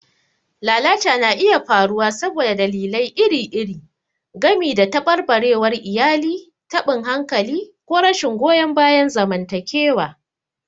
Lalata na iya faruwa saboda dalilai iri-iri, gami da tabarbarewar iyali, taɓin hankali, ko rashin goyon bayan zamantakewa.